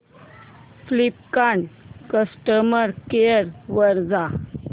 Flipkart customer care वर जा